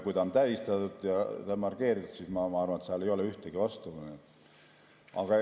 Kui see on tähistatud ja markeeritud, siis ma arvan, et seal ei ole ühtegi vastu.